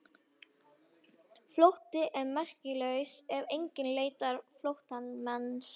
Flótti er merkingarlaus ef enginn leitar flóttamannsins.